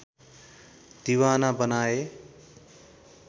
दिवाना बनाए